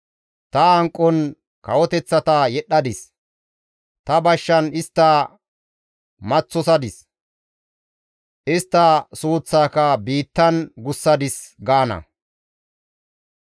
Ta hanqon kawoteththata yedhdhadis; ta bashshan istta maththosadis; istta suuththaaka biittan gussadis» gaana.